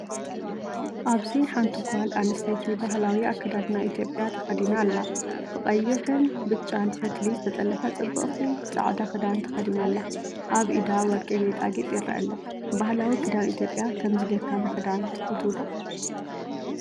ኣብዚ ሓንቲ ጓል ኣንስተይቲ ባህላዊ ኣከዳድና ኢትዮጵያ ተኸዲና ኣላ። ብቀይሕን ብጫን ፈትሊ ዝተጠልፈ ጽብቕቲ ጻዕዳ ክዳን ተኸዲና ኣላ። ኣብ ኢዳ ወርቂ ጌጣጌጥ ይርአ ኣሎ። ባህላዊ ክዳን ኢትዮጵያ ከምዚ ጌርካ ምኽዳን ትፈትው ዶ?